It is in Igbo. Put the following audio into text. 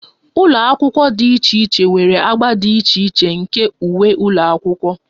Ụlọ akwụkwọ dị iche iche nwere agba dị iche iche nke uwe ụlọ akwụkwọ